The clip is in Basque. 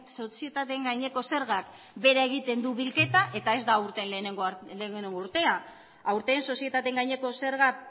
sozietateen gaineko zergak behera egiten du bilketa eta ez da aurten lehenengo urtea aurten sozietateen gaineko zerga